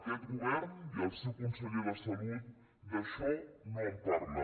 aquest govern i el seu conseller de salut d’això no en parlen